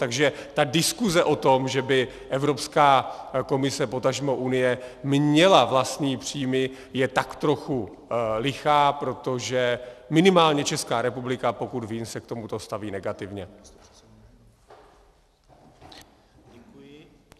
Takže ta diskuze o tom, že by Evropská komise, potažmo Unie měla vlastní příjmy, je tak trochu lichá, protože minimálně Česká republika, pokud vím, se k tomuto staví negativně.